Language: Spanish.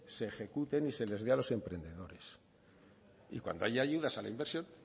se ejecuten y se les vea a los emprendedores y cuando haya ayudas a la inversión